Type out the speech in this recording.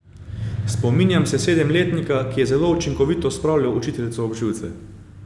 Spominjam se sedemletnika, ki je zelo učinkovito spravljal učiteljico ob živce.